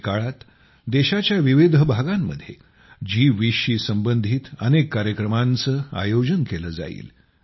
आगामी काळात देशाच्या विविध भागांमध्ये जी20 शी संबंधित अनेक कार्यक्रमांचे आयोजन केले जाईल